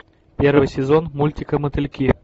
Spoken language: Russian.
первый сезон мультика мотыльки